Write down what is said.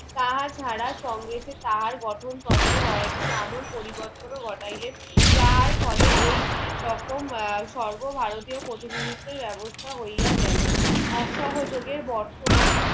তাহা ছাড়া সঙ্গে যে তাহার গঠন তান্ত্রিক কয়েকটি আমল পরিবর্তন ও ঘটাইলেন যাহার ফলে এই রকম আহ সর্ব ভারতীয় প্রতিনিধিত্বের ব্যবস্থা হইয়া গেলো অসহযোগের বর্তমান